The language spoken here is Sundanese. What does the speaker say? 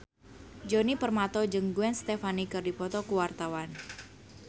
Djoni Permato jeung Gwen Stefani keur dipoto ku wartawan